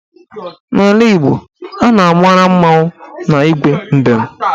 N'ala Igbo, a na-amara mmọnwụ na Igwe mbem